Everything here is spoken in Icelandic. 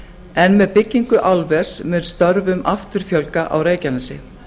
en með byggingu álvers mun störfum aftur fjölga á reykjanesi